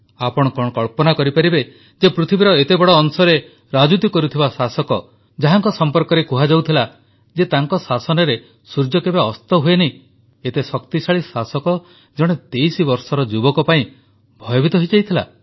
ଆପଣ କଣ କଳ୍ପନା କରିପାରିବେ ଯେ ପୃଥିବୀର ଏତେ ବଡ଼ ଅଂଶରେ ରାଜୁତି କରୁଥିବା ଶାସକ ଯାହାଙ୍କ ସମ୍ପର୍କରେ କୁହାଯାଉଥିଲା ଯେ ତାଙ୍କ ଶାସନରେ ସୂର୍ଯ୍ୟ କେବେ ଅସ୍ତ ହୁଏ ନାହିଁ ଏତେ ଶକ୍ତିଶାଳୀ ଶାସକ ଜଣେ 23 ବର୍ଷର ଯୁବକ ପାଇଁ ଭୟଭୀତ ହୋଇଯାଇଥିଲା